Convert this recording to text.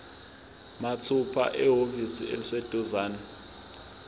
mathupha ehhovisi eliseduzane